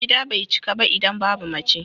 Gida bai cika ba idan babu mace.